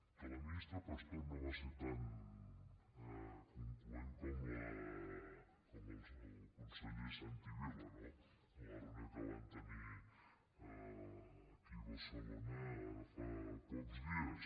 que la ministra pastor no va ser tan concloent com el conseller santi vila no en la reunió que van tenir aquí a barcelona ara fa pocs dies